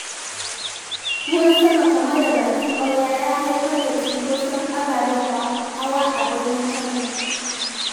Ruwan sama kamar da bakin ƙwarya ya haifar da cunkoson abababen hawa a birnin Kano.